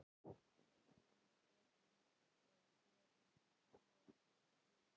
Hún hefur gefið það í skyn.